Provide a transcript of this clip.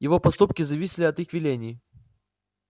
его поступки зависели от их велений